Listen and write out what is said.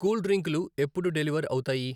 Cool డ్రింకులు ఎప్పుడు deliver అవుతాయి?